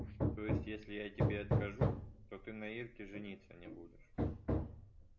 то есть если я тебе откажу то ты на ирке жениться не будешь